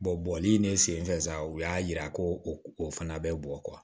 bɔnli ne senfɛ sa u y'a yira ko o fana bɛ bɔ